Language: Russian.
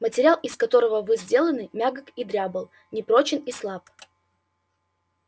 материал из которого вы сделаны мягок и дрябл непрочен и слаб